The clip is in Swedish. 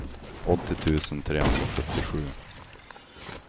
åttio tusen trehundrasjuttiosju